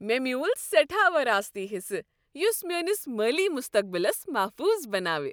مےٚ میُول سیٹھاہ وراثتی حصہٕ یس میٲنس مٲلی مستقبلس محفوظ بناو۔